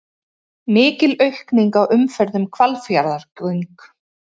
Mikil aukning á umferð um Hvalfjarðargöng